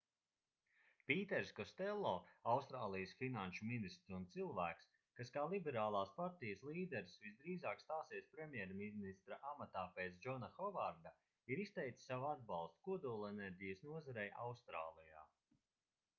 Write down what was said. pīters kostello austrālijas finanšu ministrs un cilvēks kas kā liberālās partijas līderis visdrīzāk stāsies premjerministra amatā pēc džona hovarda ir izteicis savu atbalstu kodolenerģijas nozarei austrālijā